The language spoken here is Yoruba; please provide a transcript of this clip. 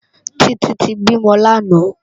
Titi ti bímò làná